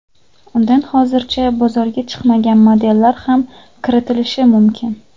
Undan hozircha bozorga chiqmagan modellar ham kiritilishi mumkin.